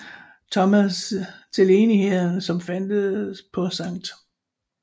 Thomas til Enigheden som fandtes på St